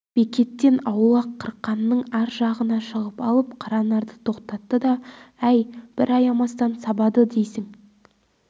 бекеттен аулақ қырқаның ар жағына шығып алып қаранарды тоқтатты да әй бір аямастан сабады дейсің